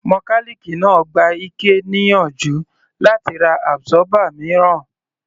Mọkálìkì náà gba Ike níyànjú láti ra absorber mìíràn.